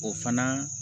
O fana